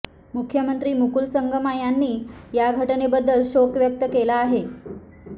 मुख्यमंत्री मुकूल संगमा यांनी या घटनेबद्दल शोक व्यक्त केला आहे